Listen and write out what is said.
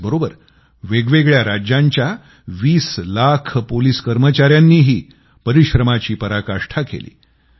त्याचबरोबर वेगवेगळ्या राज्यांच्या 20 लाख पोलिस कर्मचाऱ्यांनीही परिश्रमाची पराकाष्ठा केली